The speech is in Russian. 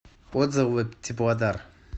отзывы теплодар